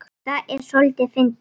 Það er soldið fyndið.